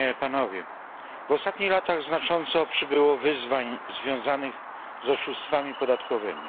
W ostatnich latach znacząco przybyło wyzwań związanych z oszustwami podatkowymi.